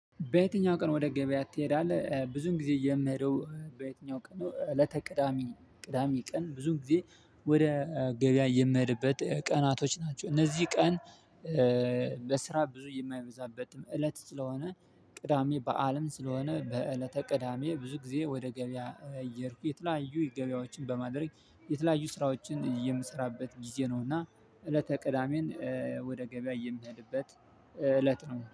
በየትኛው ቀን ወደ ገበያ ትሄዳለህ? ብዙን ጊዜ የምሄደው በየትኛው ቀን ነው። እለተ ቅዳሜ ቅዳሜ ቀን ብዙን ጊዜ ወደ ገበያ የምሄድበት ቀናቶች ናቸው እነዚህ ቀን። በስራ ብዙ የማይበዛበት እለት ስለሆነ ቅዳሜ በዓልም ስለሆነ በእለተ ቅዳሜ ብዙ ጊዜ ወደ ገበያ እየድኩ የተለያዩ ገበያዎችን በማድረግ የተለያዩ ስራዎችን የምሰራበት ጊዜ ነው። እና እለተ ቅዳሜን ወደ ገበያ የሚሄድበት እለት ነው